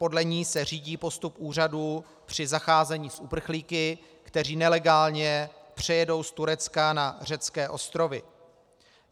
Podle ní se řídí postup úřadů při zacházení s uprchlíky, kteří nelegálně přijedou z Turecka na řecké ostrovy.